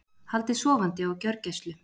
Haldið sofandi á gjörgæslu